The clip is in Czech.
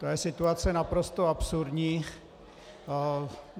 To je situace naprosto absurdní.